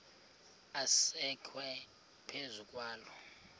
asekwe phezu kwaloo